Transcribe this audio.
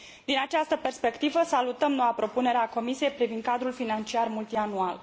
Din această perspectivă, salutăm noua propunere a Comisiei privind Cadrul financiar multianual.